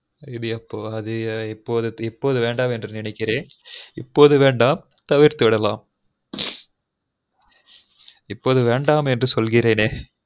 அது இப்போ அது இப்போது வேண்டாம் என்று நின்னைக்குரேன் இப்பொது வேண்டாம் தவிர்துவிடலாம் இப்பொது வேண்டாம் என்று சொல்கிரேனே